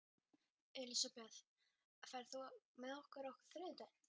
Elisabeth, ferð þú með okkur á þriðjudaginn?